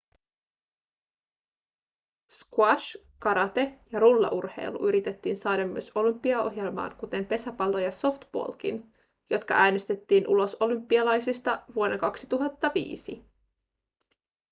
squash karate ja rullaurheilu yritettiin saada myös olympiaohjelmaan kuten pesäpallo ja softballkin jotka äänestettiin ulos olympialaisista vuonna 2005